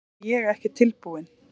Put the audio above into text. Samt var ég ekki tilbúinn.